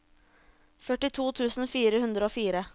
førtito tusen fire hundre og fire